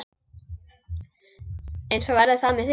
Eins verði það með mig.